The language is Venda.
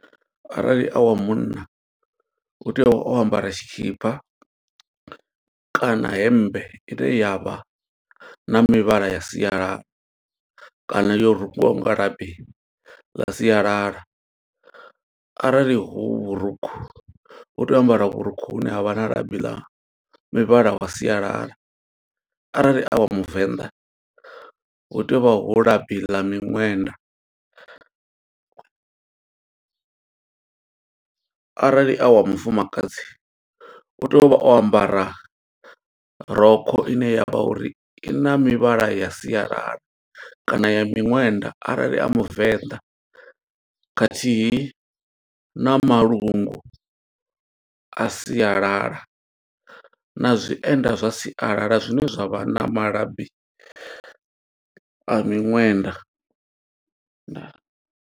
Arali a wa munna, u tea u vha o ambara tshikhipa kana hemmbe ine yavha na mivhala ya sialala. Kana yo rungiwaho nga labi ḽa sialala. Arali hu vhurukhu, u tea u ambara vhurukhu hune ha vha na labi ḽa mivhala wa sialala. Arali a wa muvenḓa hu tea uvha hu labi ḽa miṅwenda, arali a wa mufumakadzi u tea uvha o ambara rokho ine ya vha uri i na mivhala ya sialala, kana ya miṅwenda. Arali a muvenḓa, khathihi na malungu a sialala, na zwienda zwa sialala zwine zwa vha na malabi a miṅwenda. Ndaa.